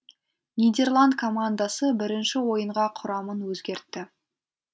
нидерланд командасы бірінші ойынға құрамын өзгертті